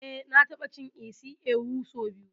Eh na ta ɓa cin isi ewu sau biyu